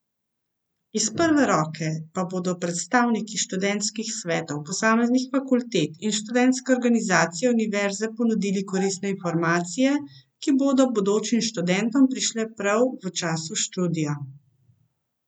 Iz prve roke pa bodo predstavniki študentskih svetov posameznih fakultet in študentske organizacije univerze ponudili koristne informacije, ki bodo bodočim študentom prišle prav v času študija.